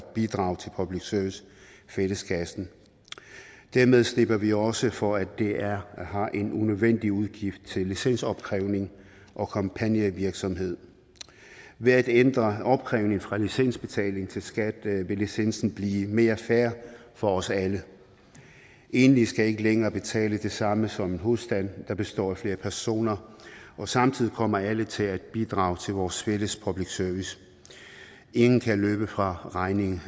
bidrage til public service fælleskassen dermed slipper vi også for at dr har en unødvendig udgift til licensopkrævning og kampagnevirksomhed ved at ændre opkrævning fra licensbetaling til skat vil licensen blive mere fair for os alle enlige skal ikke længere betale det samme som en husstand der består af flere personer og samtidig kommer alle til at bidrage til vores fælles public service ingen kan længere løbe fra regningen